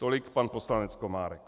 Tolik pan poslanec Komárek.